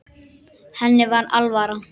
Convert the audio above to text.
Henni var alvara.